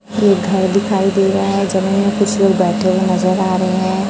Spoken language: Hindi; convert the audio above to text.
एक घर दिखाई दे रहा है जमीन में कुछ लोग बैठे हुए नजर आ रहे हैं।